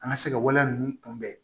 An ka se ka waleya ninnu kunbɛn